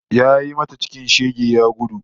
Yayi mata cikin shege ya gudu